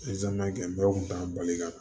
kɛ bɛɛ kun t'a bali ka